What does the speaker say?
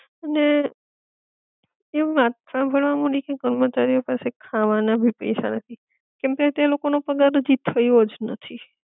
અને, એમ વાત સાંભળવા મળી છે કર્મચારીઓ પાસે ખાવાના ભી પૈસા નથી કેમકે તે લોકો નો પગાર હજી થયો જ નથી